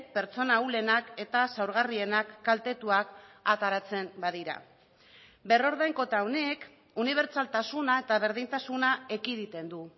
pertsona ahulenak eta zaurgarrienak kaltetuak ateratzen badira berrordainketa honek unibertsaltasuna eta berdintasuna ekiditen du